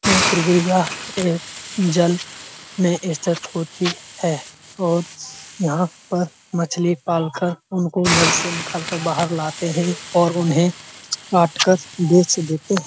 यह एक जल में स्थित होती है और यहाँ पर मछली पाल कर उनको जल से निकाल कर बाहर लाते हैं और उन्हें काटकर बेच देते --